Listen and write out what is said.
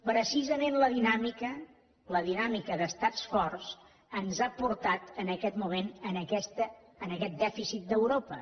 precisament la dinàmica la dinàmica d’estats forts ens ha portat en aquest moment en aquest dèficit d’europa